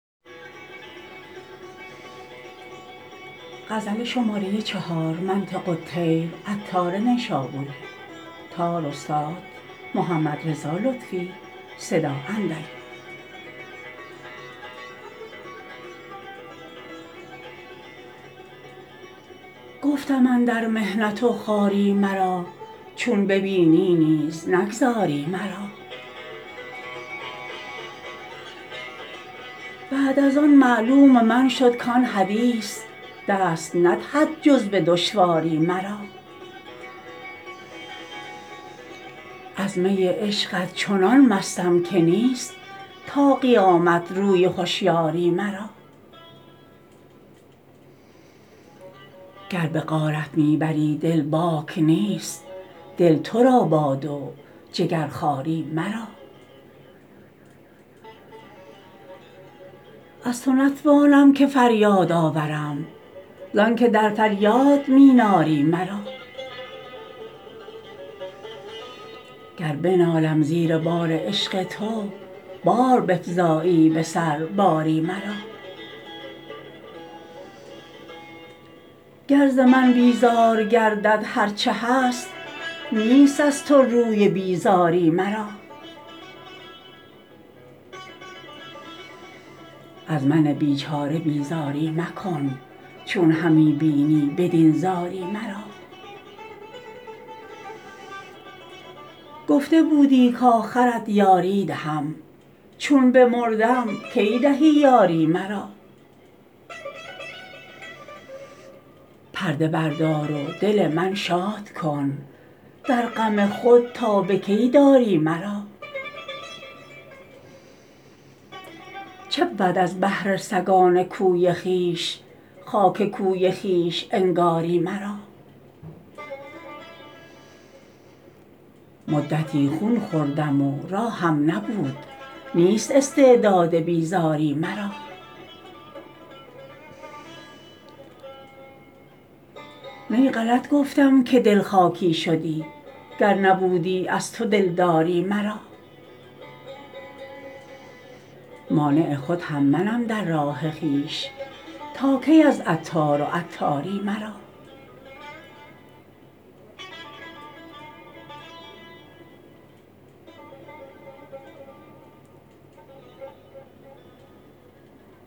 گفتم اندر محنت و خواری مرا چون ببینی نیز نگذاری مرا بعد از آن معلوم من شد کان حدیث دست ندهد جز به دشواری مرا از می عشقت چنان مستم که نیست تا قیامت روی هشیاری مرا گر به غارت می بری دل باک نیست دل تو را باد و جگرخواری مرا از تو نتوانم که فریاد آورم زآنکه در فریاد می ناری مرا گر بنالم زیر بار عشق تو باز بفزایی به سر باری مرا گر زمن بیزار گردد هرچه هست نیست از تو روی بیزاری مرا از من بیچاره بیزاری مکن چون همی بینی بدین زاری مرا گفته بودی کاخرت یاری دهم چون بمردم کی دهی یاری مرا پرده بردار و دل من شاد کن در غم خود تا به کی داری مرا چبود از بهر سگان کوی خویش خاک کوی خویش انگاری مرا مدتی خون خوردم و راهم نبود نیست استعداد بیزاری مرا نی غلط گفتم که دل خاکی شدی گر نبودی از تو دلداری مرا مانع خود هم منم در راه خویش تا کی از عطار و عطاری مرا